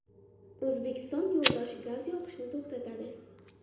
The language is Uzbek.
O‘zbekiston yo‘ldosh gaz yoqishni to‘xtatadi.